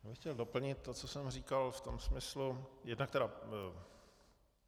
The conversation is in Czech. Já bych chtěl doplnit to, co jsem říkal, v tom smyslu, jednak tedy...